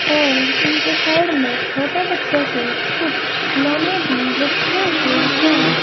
और इनके साइड में छोटे बच्चों के कुछ खिलौने भी रखे हुए हैं।